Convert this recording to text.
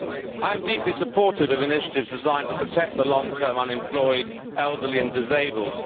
I am deeply supportive of initiatives designed to protect the long term unemployed, elderly and disabled.